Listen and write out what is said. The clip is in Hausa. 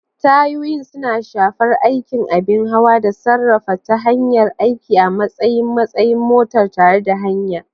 Tayoyin suna shafar aikin abin hawa da sarrafawa ta hanyar aiki a matsayin matsayin motar tare da hanya.